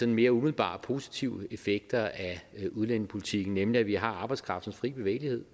mere umiddelbare positive effekter af udlændingepolitikken nemlig at vi har arbejdskraftens fri bevægelighed